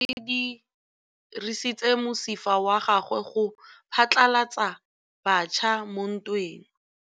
Lepodisa le dirisitse mosifa wa gagwe go phatlalatsa batšha mo ntweng.